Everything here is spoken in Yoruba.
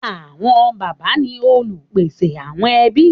Àwọn bàbá ni olùpèsè àwọn ẹbí.